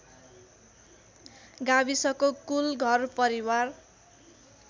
गाविसको कुल घरपरिवार